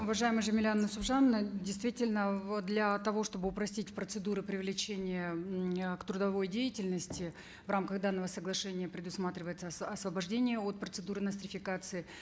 уважаемая жамиля нусипжановна действительно вот для того чтобы упростить процедуры привлечения э к трудовой деятельности в рамках данного соглашения предусматривается освобождение от процедуры нострификации